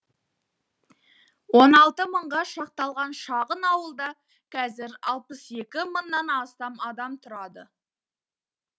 он алты мыңға шақталған шағын ауылда қазір алпыс екі мыңнан астам адам тұрады